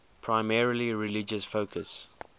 primarily religious focus